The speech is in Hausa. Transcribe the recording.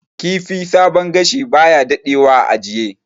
Kifi sabon gashi baya dadewa a ajiye